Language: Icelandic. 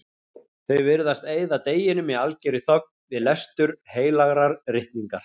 Þau virðast eyða deginum í algerri þögn, við lestur heilagrar ritningar.